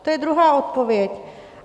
To je druhá odpověď.